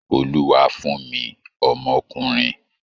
Olúwa fún mi ọmọkunrin!